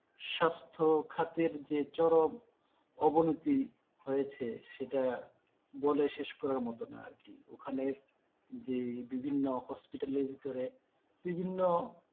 স্বাস্থ্য খাতের যে চরম অবনতি হয়েছে সেটা বলে শেষ করার মতো না আর কি ওখানে যে বিভিন্ন hospital এর ভেতরে বিভিন্ন,